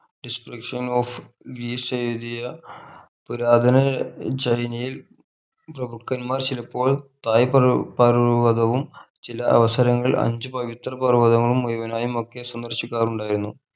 distriction of എഴുതിയ പുരാതന ചൈനയിൽ പ്രഭുക്കൻമാർ ചിലപ്പോൾ തായി പർ പർവ്വതവും ചില അവസരങ്ങൾ അഞ്ചു പവിത്ര പർവ്വതവും മുഴുവനായുമൊക്കെ സന്ദർശിക്കാറുണ്ടായിരുന്നു